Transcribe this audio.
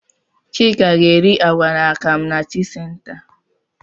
Chika ga-eri àgwà na akam na tii senta.